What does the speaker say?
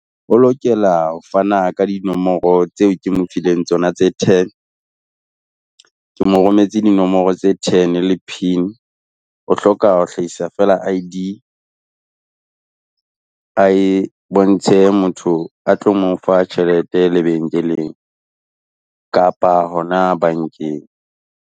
O lokela ho fana ka dinomoro tseo ke mo fileng tsona tse ten. Ke mo rometse dinomoro tse ten le PIN o hloka ho hlahisa fela I_D ae bontshe motho a tlo mo fa tjhelete lebenkeleng kapa hona bankeng.